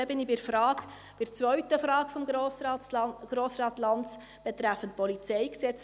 Damit komme ich zur zweiten Frage von Grossrat Lanz betreffend PolG: